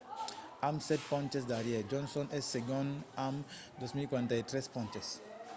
amb sèt ponches darrièr johnson es segond amb 2 243 ponches